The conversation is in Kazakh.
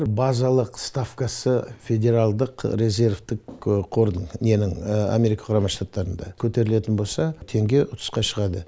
базалық ставкасы федералдық резервтік қордың ненің америка құрама штаттарында көтерілетін болса теңге ұтысқа шығады